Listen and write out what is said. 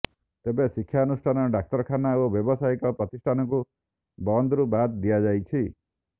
ତେବେ ଶିକ୍ଷାନୁଷ୍ଠାନ ଡାକ୍ତରଖାନା ଓ ବ୍ୟାବସାୟିକ ପ୍ରତିଷ୍ଠାନକୁ ବନ୍ଦରୁ ବାଦ୍ ଦିଆଯାଇଛି